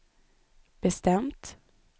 bestämt